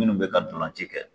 Minnu bɛ ka dɔlanci kɛ.